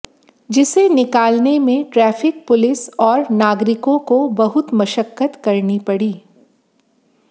जिसे निकालने में ट्रैफिक पुलिस और नागरिकों को बहुत मशक्कत करनी पड़ी